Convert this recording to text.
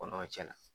Kɔnɔw cɛ la